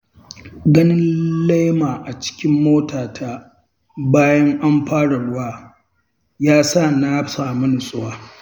Ganin lema acikin motata, bayan an fara ruwa, ya sa na sami nutsuwa.